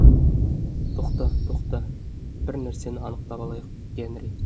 тоқта тоқта бір нәрсені анықтап алайық генри